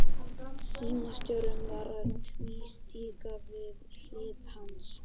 Símstjórinn var að tvístíga við hlið hans.